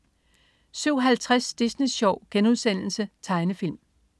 07.50 Disney Sjov.* Tegnefilm